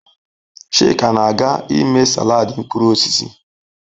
Chika na-aga ime salad mkpụrụ osisi